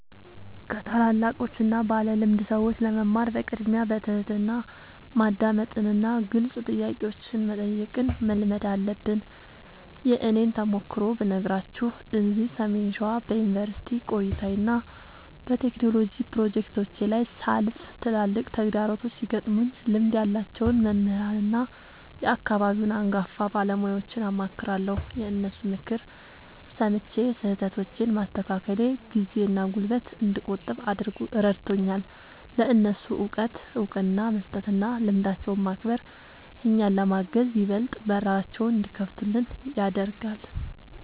ከታላላቆችና ባለልምድ ሰዎች ለመማር በቅድሚያ በትሕትና ማዳመጥንና ግልጽ ጥያቄዎችን መጠየቅን መልመድ አለብን። የእኔን ተሞክሮ ብነግራችሁ፤ እዚህ ሰሜን ሸዋ በዩኒቨርሲቲ ቆይታዬና በቴክኖሎጂ ፕሮጀክቶቼ ላይ ሳልፍ፣ ትላልቅ ተግዳሮቶች ሲገጥሙኝ ልምድ ያላቸውን መምህራንና የአካባቢውን አንጋፋ ባለሙያዎችን አማክራለሁ። የእነሱን ምክር ሰምቼ ስህተቶቼን ማስተካከሌ ጊዜና ጉልበት እንድቆጥብ ረድቶኛል። ለእነሱ እውቀት እውቅና መስጠትና ልምዳቸውን ማክበር፣ እኛን ለማገዝ ይበልጥ በራቸውን እንዲከፍቱልን ያደርጋል።